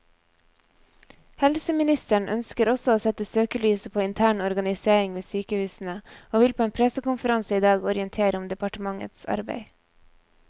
Helseministeren ønsker også å sette søkelyset på intern organisering ved sykehusene, og vil på en pressekonferanse i dag orientere om departementets arbeid.